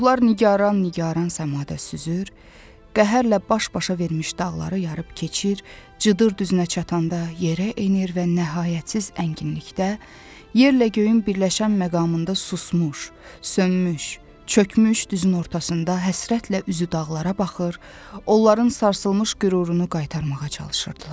Ruhlar nigaran-nigaran səmada süzür, qəhərlə baş-başa vermiş dağları yarıb keçir, cıdır düzünə çatanda yerə enir və nəhayətsiz ənginlikdə, yerlə göyün birləşən məqamında susmuş, sönmüş, çökmüş düzün ortasında həsrətlə üzü dağlara baxır, onların sarsılmış qürurunu qaytarmağa çalışırdılar.